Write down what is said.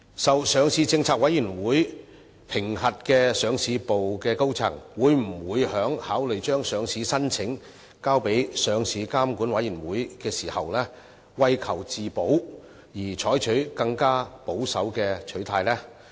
受上市政策委員會評核的上市部高層，會否考慮將上市申請交予上市監管委員會時，為求自保，採取更保守的取態？